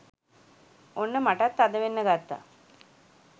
ඔන්න මටත් තදවෙන්න ගත්තා.